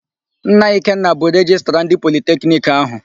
Nna Ikenna bụ Rejistra ndị Politekiniki áhụ̀.